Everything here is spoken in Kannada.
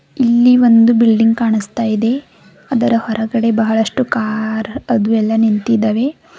ಇಲ್ಲಿ ಒಂದು ಬಿಲ್ಡಿಂಗ್ ಕಾಣಸ್ತಾ ಇದೆ ಅದರ ಹೊರಗಡೆ ಬಹಳಷ್ಟು ಕಾರ್ ಅದು ಎಲ್ಲ ನಿಂತಿದಾವೆ.